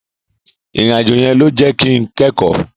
Ìrìn àjò yẹn ló jẹ́ kin kẹ́kọ̀ọ́.